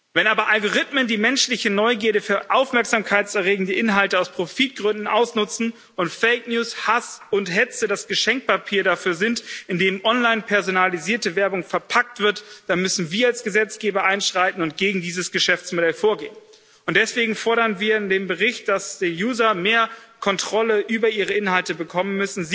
Wenn aber Algorithmen die menschliche Neugierde für Aufmerksamkeit erregende Inhalte aus Profitgründen ausnutzen und fake news Hass und Hetze das Geschenkpapier dafür sind, in dem online personalisierte Werbung verpackt wird, dann müssen wir als Gesetzgeber einschreiten und gegen dieses Geschäftsmodell vorgehen. Deswegen fordern wir in dem Bericht, dass die user mehr Kontrolle über ihre Inhalte bekommen.